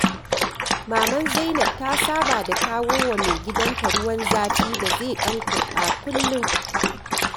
Maman Zainab ta saba da kawo wa maigidanta ruwan zafi da zai ɗan kurɓa kullum.